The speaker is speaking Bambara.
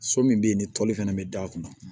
So min bɛ yen ni toli fɛnɛ bɛ d'a kunna